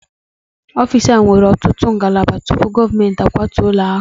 Ọfịs ahụ nwere ọtụtụ ngalaba tupu gọọmentị a kwatuo ụlọ ha